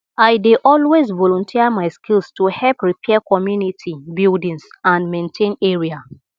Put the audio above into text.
i dey always volunteer my skills to help repair community buildings and maintain area